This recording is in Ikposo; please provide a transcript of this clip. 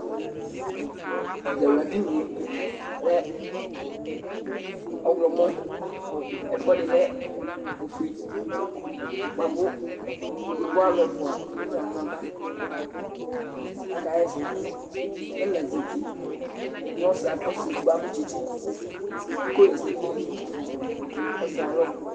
Ɛzawla dini yɛ ɔlɛ ɔɣlɔmɔ, ɛfʋɛdi lɛ ofue bua kʋ yovo alʋ ɛfua emu nʋ aɣla n'ava k'ska ha ɛsɛ, k'ɛla zati kʋ ɔsi edigbo adʋ tsitsi iko h'ɛsɛ dʋ n'ayili dʋ ɔsi yɛ ay'alɔ